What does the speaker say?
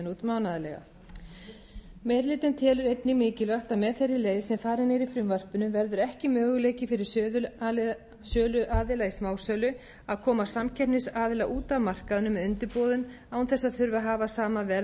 hlutinn telur einnig mikilvægt að með þeirri leið sem farin er í frumvarpinu verður ekki möguleiki fyrir söluaðila í smásölu að koma samkeppnisaðila út af markaðnum með undirboðum án þess að þurfa að hafa sama verð á öðrum sölustöðum